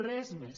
res més